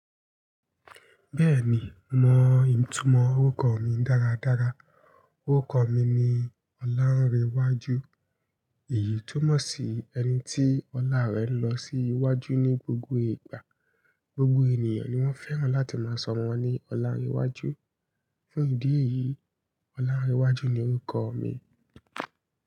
Bẹ́ẹ̀ni, mo mọ ìtumọ̀ orúkọ mi dáradára. Orúkọ mi ni Ọlárẹwájú. Èyí túmọ̀ sí ẹni tí ọlá rẹ̀ lọ sí iwájú ní gbogbo ìgbà. Gbogbo ènìyàn ni wọ́n fẹ́ràn láti máa sọ ọ́mọ́ wọ́n ní Ọlárẹwájú. Fún ìdí èyí, Ọlárẹwájú ni orúkọ mi.